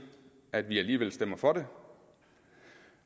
at vi alligevel stemmer for det